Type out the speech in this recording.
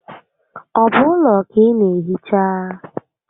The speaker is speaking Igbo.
Ọ bụ ụlọ ka ị naa ehicha?